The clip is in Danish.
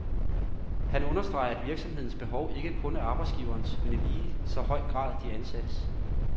Han understreger, at virksomhedens behov ikke kun er arbejdsgiverens, men i lige så høj grad de ansattes.